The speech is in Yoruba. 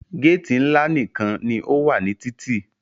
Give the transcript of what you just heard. Géèti ńlá nìkan ní o wà ní títì.